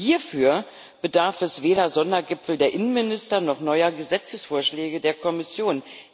Hierfür bedarf es weder Sondergipfel der Innenminister noch neuer Gesetzesvorschläge der Kommission.